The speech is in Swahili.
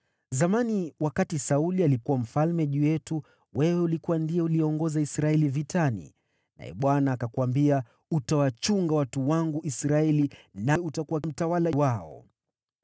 Zamani, wakati Sauli alikuwa mfalme juu yetu, wewe ndiwe uliyeiongoza Israeli vitani. Naye Bwana alikuambia, ‘Wewe utawachunga watu wangu Israeli, na utakuwa mtawala wao.’ ”